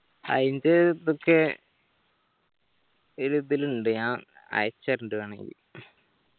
അയിൻത് ഇപ്പൊ കെ ഇത് ഇതിലിണ്ട് ഞാൻ അയക്കിച്ചേർണ്ട്‌ വേണങ്കി